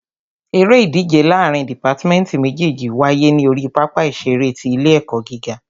Eré ìdíje láàrín dìpátmẹ́tì méjèjì wáyé ní orí pápá ìṣeré ti ilé ẹ̀kọ́ gíga.